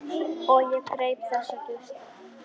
Og ég greip þessa geisla.